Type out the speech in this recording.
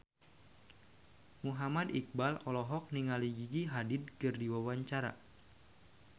Muhammad Iqbal olohok ningali Gigi Hadid keur diwawancara